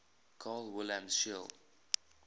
carl wilhelm scheele